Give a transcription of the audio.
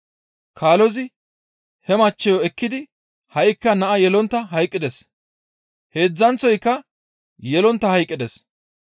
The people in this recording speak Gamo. Kaalozi he maccassayo ekkidi ha7ikka naa yelontta hayqqides; heedzdzanththoyka yelontta hayqqides.